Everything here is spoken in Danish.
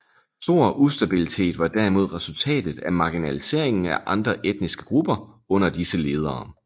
Stor ustabilitet var derimod resultatet af marginaliseringen af andre etniske grupper under disse ledere